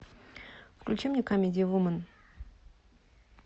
включи мне камеди вумен